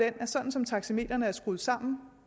at sådan som taxametrene er skruet sammen